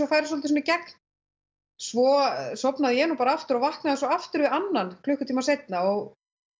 færi svolítið í gegn svo sofnaði ég nú bara aftur og vaknaði svo aftur við annan klukkutíma seinna og